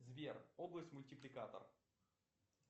сбер область мультипликатор